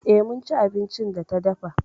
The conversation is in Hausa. E, mun ci abincin da ta dafa.